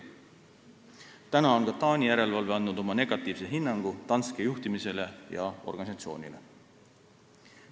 Nüüdseks on ka Taani järelevalve andnud oma negatiivse hinnangu Danske juhtimisele ja organisatsioonile.